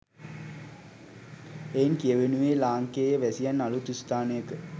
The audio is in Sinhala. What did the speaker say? එයින් කියවෙනුයේ ලාංකේය වැසියන් අලුත් ස්ථානයක